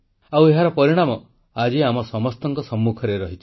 ଆଉ ଏହାର ପରିଣାମ ଆଜି ଆମ ସମସ୍ତଙ୍କ ସମ୍ମୁଖରେ ରହିଛି